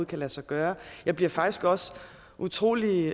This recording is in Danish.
kan lade sig gøre og jeg bliver faktisk også utrolig